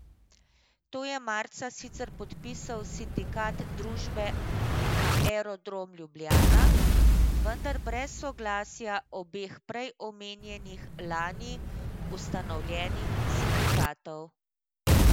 To je marca sicer podpisal Sindikat družbe Aerodrom Ljubljana, vendar brez soglasja obeh prej omenjenih lani ustanovljenih sindikatov.